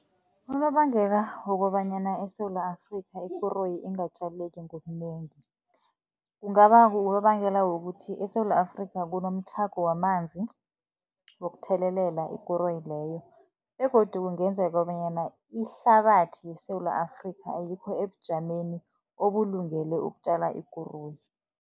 Unobangela wokobanyana eSewula Afrika, ikoroyi ingatjaleki ngobunengi, kungaba ngunobangela wokuthi eSewula Afrika kunomtlhago wamanzi wokuthelelela ikoroyi leyo, begodu kungenzeka kobanyana ihlabathi yeSewula Afrika, ayikho ebujameni obulungele ukutjala ikoroyi.